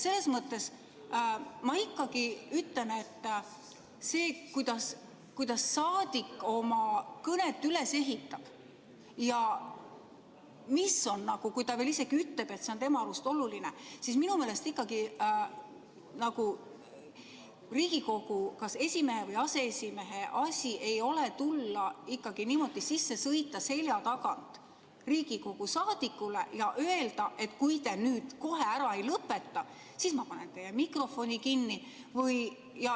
Selles mõttes ma ikkagi ütlen, et see, kuidas saadik oma kõnet üles ehitab ja kui ta veel ise ütleb, et see on tema arust oluline, ei ole minu meelest ikkagi nagu Riigikogu esimehe või aseesimehe asi, et tulla ja niimoodi selja tagant sisse sõita Riigikogu saadikule ja öelda, et kui te nüüd kohe ära ei lõpeta, siis ma panen teie mikrofoni kinni.